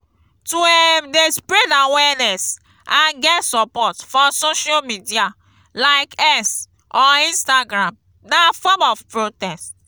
to um de spread awareness and get support for social media like x or instagram na form of protect